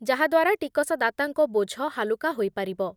ଯାହାଦ୍ୱାରା ଟିକସଦାତାଙ୍କ ବୋଝ ହାଲୁକା ହୋଇପାରିବ।